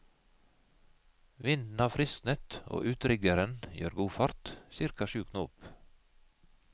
Vinden har frisknet og utriggeren gjør god fart, cirka sju knop.